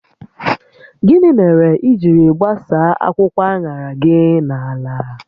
Gịnị mere i jiri gbasaa akwụkwọ aṅara gi na ala?